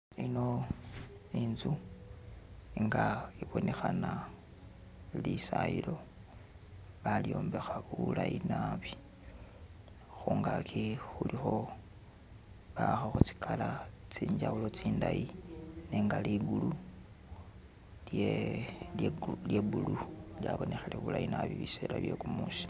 Eno inzu nga ibonekhana lisayilo balyombekha bulayi naabi khungagi khulikho bahakhakho zi color tsenjawulo tsindayi nenga ligulu lye blue lyabonekhele bulayi naabi bisela byegumusi.